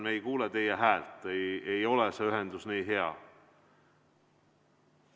Ühendus ei ole hea.